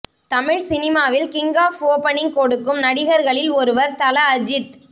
தமிழ் சினிமாவில் king of opening கொடுக்கும் நடிகர்களில் ஒருவர் தல அஜித்